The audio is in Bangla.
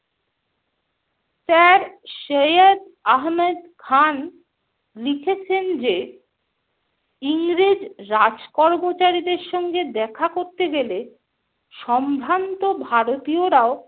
Sir সৈয়দ আহমেদ খান লিখেছেন যে, ইংরেজ রাজকর্মচারীর সঙ্গে দেখা করতে গেলে সম্ভ্রান্ত ভারতীয়রাও